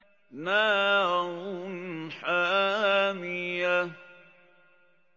نَارٌ حَامِيَةٌ